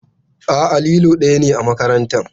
A'a, lilo ɗaya ne a makarantar.